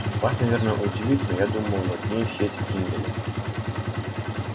вас наверное удивит но я думал над ней все эти три недели